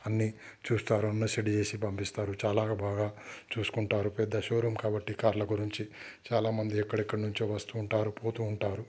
అన్ని చూస్తారు చేసి పంపిస్తారు చాలా బాగా చూసుకుంటారు పెద్ద షోరూం కాబట్టి కార్ ల గురించి చాలామంది ఎక్కడెక్కనుంచో వస్తూ ఉంటారు పోతూ ఉంటారు.